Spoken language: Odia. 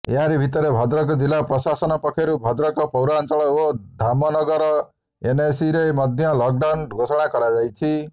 ଏହାରି ଭିତରେ ଭଦ୍ରକ ଜିଲାପ୍ରଶାସନ ପକ୍ଷରୁ ଭଦ୍ରକ ପୌରାଞ୍ଚଳ ଓ ଧାମନଗର ଏନଏସିରେ ମଧ୍ୟ ଲକଡାଉନ ଘୋଷଣା କରାଯାଇଛି